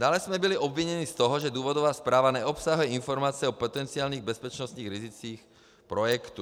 Dále jsme byli obviněni z toho, že důvodová zpráva neobsahuje informace o potenciálních bezpečnostních rizicích projektu.